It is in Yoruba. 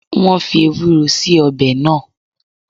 Wọn fii Ewúró síí ọbẹ̀ náà